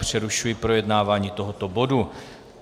Přerušuji projednávání tohoto bodu.